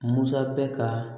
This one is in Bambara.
Musa bɛ ka